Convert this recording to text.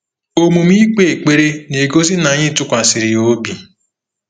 Omume ikpe ekpere na-egosi na anyị tụkwasịrị ya obi.